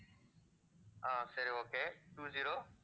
ஆஹ் சரி okay two zero